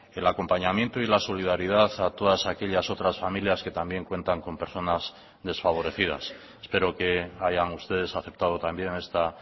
el acompañamiento y la solidaridad a todas aquellas otras familias que también cuentan con personas desfavorecidas espero que hayan ustedes aceptado también esta